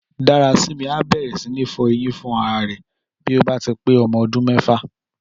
Dárasími á bẹ̀rẹ̀ sí ní fọ eyín fúnra rẹ̀ bí 9 bá ti pé ọmọ ọdún mẹ́fà